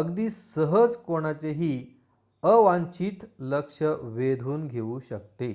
अगदी सहज कोणाचेही अवांछित लक्ष वेधून घेऊ शकते